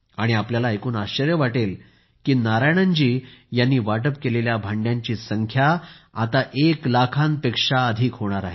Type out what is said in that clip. आणि तुम्हाला ऐकून आश्चर्य वाटेल मित्रांनो की नारायणन जी यांनी वाटप केलेल्या भांड्यांची संख्या आता एक लाखांपेक्षा अधिक होणार आहे